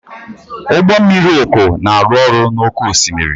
Ụgbọ mmiri uku na-arụ ọrụ n'oké osimiri.